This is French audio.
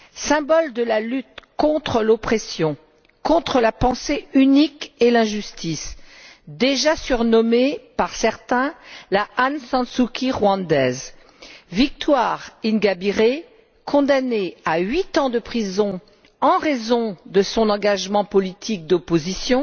Symbole de la lutte contre l'oppression, contre la pensée unique et l'injustice, déjà surnommée par certains la Aung San Suu Kyi rwandaise, Victoire Ingabire, condamnée à huit ans de prison en raison de son engagement politique d'opposition,